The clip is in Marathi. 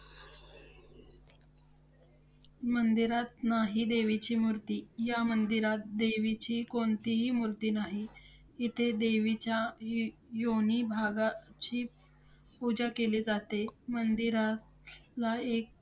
मंदिरात नाही देवीची मूर्ती. ह्या मंदिरात देवीची कोणतीही मूर्ती नाही. इथे देवीच्या य~ योनी भागाची पूजा केली जाते. मंदिरातला एक